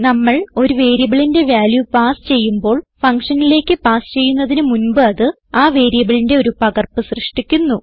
നമ്മൾ ഒരു വേരിയബിളിന്റെ വാല്യൂ പാസ് ചെയ്യുമ്പോൾ ഫങ്ഷനിലേക്ക് പാസ് ചെയ്യുന്നതിന് മുൻപ് അത് ആ വേരിയബിളിന്റെ ഒരു പകർപ്പ് സൃഷ്ടിക്കുന്നു